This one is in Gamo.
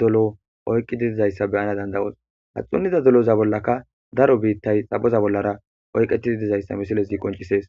dolo oyqqi didizayssa beyana dandayos ha xunnida doloza bollaka daro biittay xapoza bollara oyqetidi dizayssa misilesgi qoncisees